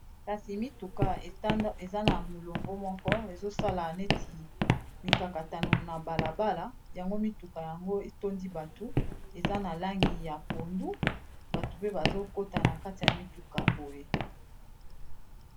kasi mituka eza na molongo moko ezosala neti mikakatano na balabala yango mituka yango etondi bato eza na langi ya pondu bato pe bazokotana kati ya mituka boye